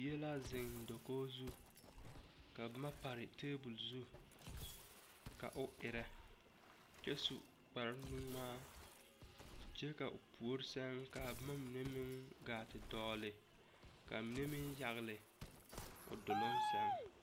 Bie la zeŋ da kogi zu ka boma pare tebol zu ka o erɛ kyɛ su kparre ŋmaa kyɛ ka a puori sɛŋ ka boma mine gaa te dɔgle ka a mine meŋ yagle o duluŋ sɛŋ.